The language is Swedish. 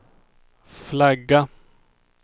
flagga